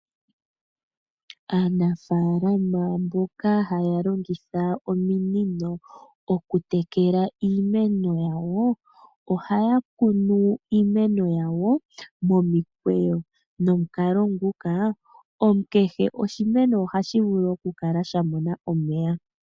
Aanafalama mboka haya longitha ominino okutekela iimeno yawo .Ohaya kunu iimeno yawo momikweyo. Nomukalo nguka kehe oshimeno ohashi vulu okukala sha mona omeya .